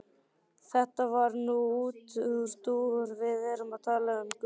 Þetta var nú útúrdúr, við erum að tala um guðspeki.